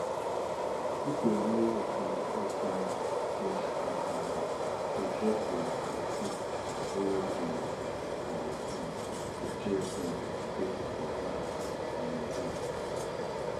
pipo wey dey inside dis corn party dey dress like di stick wey dey for farm to chase bird make pipo laugh and enjoy